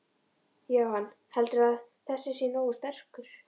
Jóhann: Heldurðu að þessi sé nógu sterk?